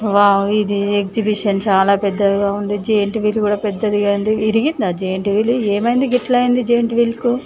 Wow ఇది exhibition చాలా పెద్దగా ఉంది జాయింట్ వీల్ కూడా పెద్దదిగానిది విరిగిందా జాయింట్ వీల్ ఏమైంది గిట్లైంది జాయింట్ వీల్ కు?